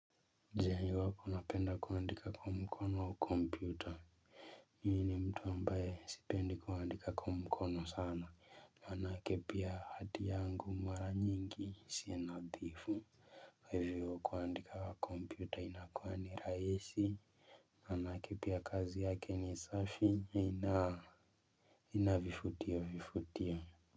Je iwapo napenda kuandika kwa mkono au kompyuta mimi ni mtu ambaye sipendi kuandika kwa mkono sana maanake pia hati yangu mara nyingi si nadhifu kwa hivyo kuandika kompyuta inakuwa ni rahisi maanake pia kazi yake ni safi haina vifutiofutio.